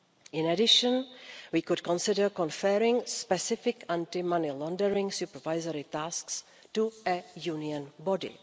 In addition, we could consider conferring specific anti money laundering supervisory tasks on a Union body.